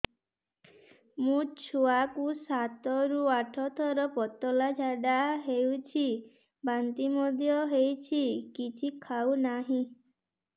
ମୋ ଛୁଆ କୁ ସାତ ରୁ ଆଠ ଥର ପତଳା ଝାଡା ହେଉଛି ବାନ୍ତି ମଧ୍ୟ୍ୟ ହେଉଛି କିଛି ଖାଉ ନାହିଁ